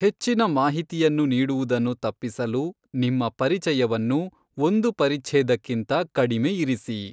ಹೆಚ್ಚಿನ ಮಾಹಿತಿಯನ್ನು ನೀಡುವುದನ್ನು ತಪ್ಪಿಸಲು ನಿಮ್ಮ ಪರಿಚಯವನ್ನು ಒಂದು ಪರಿಛ್ಛೇದಕ್ಕಿಂತ ಕಡಿಮೆ ಇರಿಸಿ.